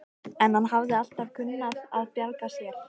En hann hafði alltaf kunnað að bjarga sér.